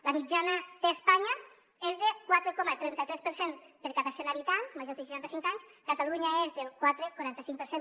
la mitjana d’espanya és de quatre coma trenta tres per cent per cada cent habitants majors de seixanta cinc anys a catalunya és del quatre coma quaranta cinc per cent